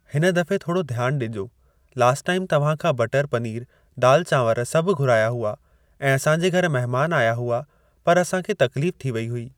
हिन दफ़े थोड़ो ध्यान ॾिजो। लास्ट टाइम तव्हां खां बटर पनीर दाल चावंर सभु घुराया हुआ ऐं असांजे घर महिमान आया हुआ पर असां खे तकलीफ़ थी वेई हुई।